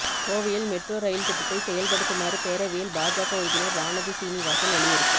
கோவையில் metro rail திட்டத்தை செயல்படுத்துமாறு பேரவையில் பாஜக உறுப்பினர் வானதி சீனிவாசன் வலியுறுத்தல்